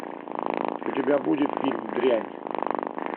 у тебя будет фильм дрянь